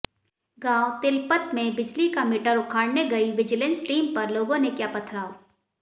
गांव तिलपत में बिजली का मीटर उखाडऩे गई विजिलेंस टीम पर लोगों ने किया पथराव